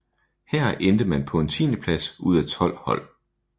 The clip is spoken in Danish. Her endte man på en tiendeplads ud af tolv hold